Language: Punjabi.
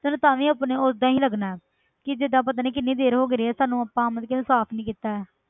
ਤੈਨੂੰ ਤਾਂ ਵੀ ਆਪਣੇ ਓਦਾਂ ਹੀ ਲੱਗਣਾ ਹੈ ਕਿ ਜਿੱਦਾਂ ਪਤਾ ਨੀ ਕਿੰਨੀ ਦੇਰ ਹੋ ਗਈ ਆ ਸਾਨੂੰ ਆਪਾਂ ਮਤਲਬ ਕਿ ਉਹਨੂੰ ਸਾਫ਼ ਨੀ ਕੀਤਾ ਹੈ।